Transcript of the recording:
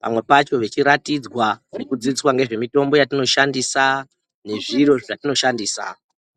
pamwe pacho vachiratidzwa kudziswa ngezve mitombo yatinoshandisa nezviro zvatinoshandisa.